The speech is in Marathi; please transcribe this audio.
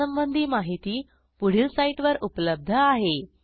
यासंबंधी माहिती पुढील साईटवर उपलब्ध आहे